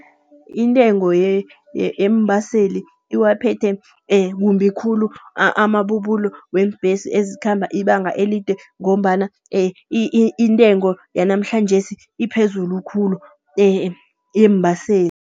Intengo yeembaseli iwaphethe kumbi khulu amabubulo weembhesi ezikhamba ibanga elide, ngombana intengo yanamhlanjesi iphezulu khulu yeembaseli.